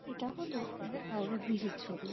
এটা হলো আমাদের হাওড়া ব্রীজ -এর ছবি।